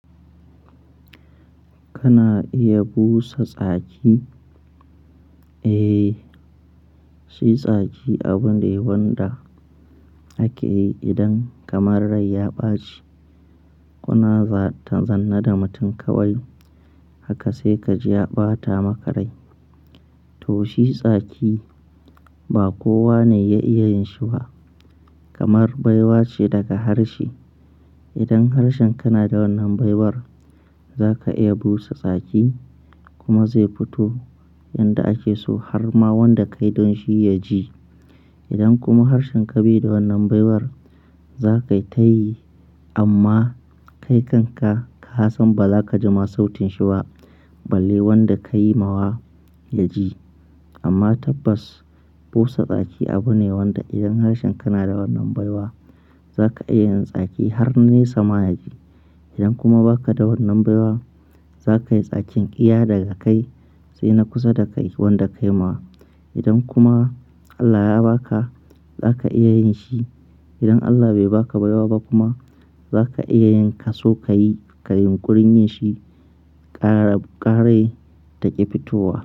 Kana iya busa tsaki? Eh, shi tsaki abu ne wanda ake yi idan kamar rai ya ɓaci. Ku na za-zanna da mutum kawai haka sai ka ji ya ɓata maka rai. To shi tsaki ba kowa ne ya iya yin shi ba, kamar baiwa ce daga harshe. Idan harshen kana da wannan baiwar, za ka iya busa tsaki kuma zai fito yanda ake so har ma wanda ka yi don shi ya ji. Idan kuma harshen ka bai da wannan baiwar, za ka yi tayi amma kai kanka ka san ba za ka ji ma sautin shi ba, balle wanda ka yi ma wa ya ji. Amma tabbas busa tsaki abu ne wanda idan harshen kana da wannan baiwar za ka iya yin tsaki har ne sama ya ji. Idan kuma ba ka da wannan baiwar, za ka yi tsakin iya daga kai sai na kusa da kai wanda ka yi ma. Idan kuma Allah ya ba ka, za ka iya yin shi. Idan Allah bai ba ka baiwa ba kuma, za ka iya yin ka so ka yi, ka yi ƙurin yin shi ƙare-ƙare take fitowa.